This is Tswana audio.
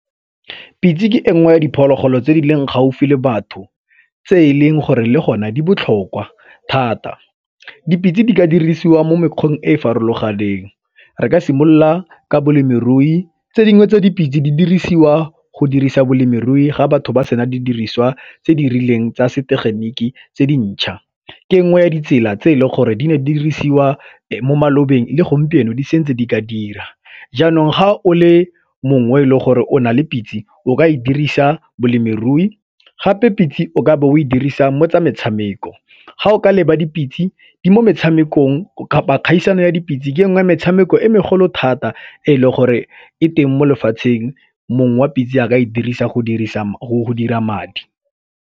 Pitse ke engwe ya diphologolo tse di leng gaufi le batho tse e leng gore le gona di botlhokwa thata. Dipitse di ka dirisiwa mo mekgweng e e farologaneng re ka simolola ka balemirui, tse dingwe tse dipitse di dirisiwa go dirisa balemirui ga batho ba sena di diriswa tse di rileng tsa setegeniki tse dintšha, ke nngwe ya ditsela tse e le gore di ka dirisiwa mo malobeng le gompieno di setse di ka dira jaanong ga o le mongwe le gore o na le pitse o ka e dirisa balemirui gape pitse o ka be o e dirisa mo tsa metshameko. Ga o ka leba dipitse di mo metshamekong, kapa kgaisano ya dipitse ke nngwe metshameko e megolo thata e leng gore e teng mo lefatsheng mong wa pitse a ka e dirisa go dira madi.